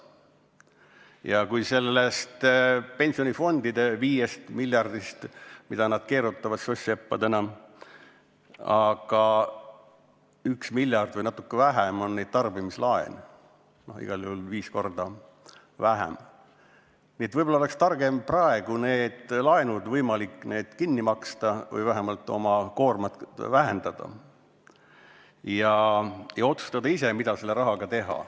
Ja kui sellest pensionifondide viiest miljardist, mida nad soss-seppadena keerutavad, üks miljard või natuke vähem on tarbimislaene – igal juhul viis korda vähem –, siis võib-olla oleks targem praegu need laenud kinni maksta või vähemalt oma koormat vähendada ja otsustada ise, mida selle rahaga teha.